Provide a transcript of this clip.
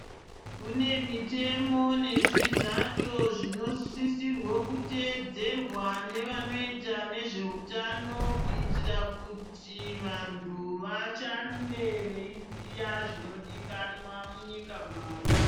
Kune mitemo nezvizato zvinosisirwe kuteedzerwa nevanoita nezveutano kuitira kuti vantu vashande veiziya zvinodikanwa munyika mwawo.